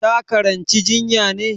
Ta karanci jinya ne?